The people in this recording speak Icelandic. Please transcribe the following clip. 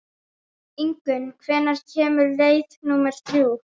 Ingunn, hvenær kemur leið númer þrjú?